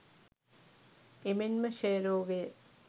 එමෙන්ම ක්ෂය රෝගය